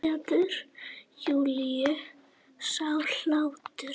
Gleður Júlíu sá hlátur.